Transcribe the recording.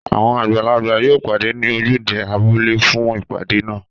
Àwọn àgbààgbà yóò pàdé ní ojúde abúlé fún ìpàdé náà.